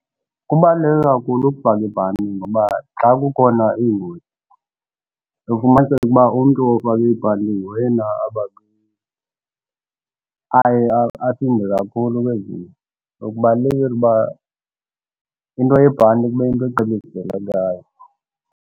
Kubaluleke kakhulu ukufaka ibhanti ngoba xa kukhona iingozi uye ufumaniseke ukuba umntu ofake ibhanti nguyena aye asinde kakhulu kwezi nto. So, kubalulekile uba into yebhanti kube yinto